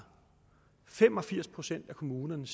fem og firs procent af kommunerne